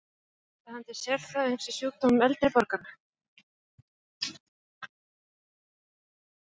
Senda hann til sérfræðings í sjúkdómum eldri borgara?